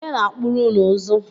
Ọnye na-akpụrụ ụnụ ụzụ?